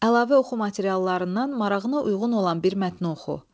Əlavə oxu materiallarından marağına uyğun olan bir mətni oxu.